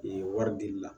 Ee wari dili la